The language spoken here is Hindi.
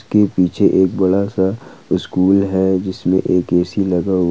के पीछे एक बड़ा सा स्कूल है जिसमें एक ए सी लगा हुआ।